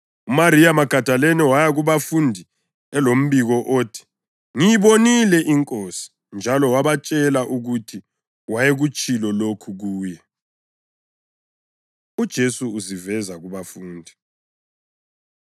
UMariya Magadalini waya kubafundi elombiko othi, “ngiyibonile iNkosi!” Njalo wabatshela ukuthi wayekutshilo lokhu kuye. UJesu Uziveza Kubafundi